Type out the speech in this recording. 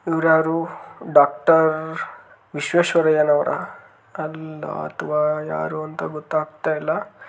ಇವ್ರಯಾರು doctor ವಿಶ್ವೇಶ್ವರಯ್ಯನವರ ಕಲ್ಲ ಅಥವಾ ಯಾರು ಅಂತ ಗೊತ್ತಾಗತ್ತಾಯಿಲ್ಲಾ.